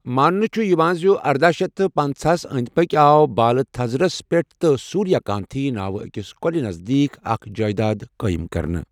ماننہِٕ چھ یوان زِ ارداہ شیتھ تہٕ پنژاہَس أندۍ پكۍ آو بالہٕ تھزرَس پٮ۪ٹھ تہٕ سوریا کانتھی ناوٕ أکِس کۄلہِ نزدیٖک اکھ جایداد قٲئم کرنہٕ۔